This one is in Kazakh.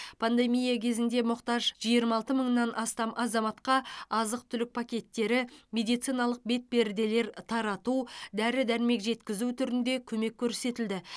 пандемия кезінде мұқтаж жиырма алты мыңнан астам азаматқа азық түлік пакеттері медициналық бетперделер тарату дәрі дәрмек жеткізу түрінде көмек көрсетілді